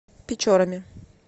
печорами